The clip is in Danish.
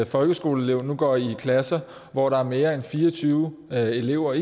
folkeskoleelev nu går i klasser hvor der er mere end fire og tyve elever